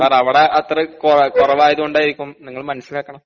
സാറവടെ അത്ര ഏഹ് കൊ കൊറവായത് കൊണ്ടാരിക്കും നിങ്ങള് മനസ്സിലാക്കണം.